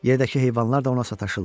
Yerdəki heyvanlar da ona sataşırlar.